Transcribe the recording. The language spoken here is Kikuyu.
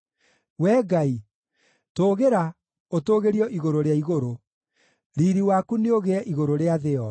Wee Ngai, tũũgĩra, ũtũũgĩrio igũrũ rĩa igũrũ; riiri waku nĩũgĩe igũrũ rĩa thĩ yothe.